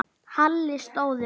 Halli stóð upp.